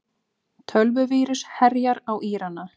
Tölvuvírus herjar á Írana